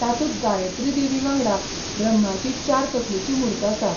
तातूंत गायत्री देवी वांगडा ब्रह्माची चार तकलेची मूर्त आसा.